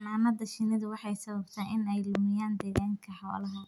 Xannaanada shinnidu waxay sababtaa in ay lumiyaan deegaanka xoolaha.